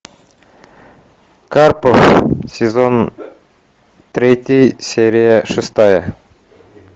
карпов сезон третий серия шестая